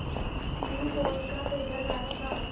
तीन कोस का पैदल रास्ता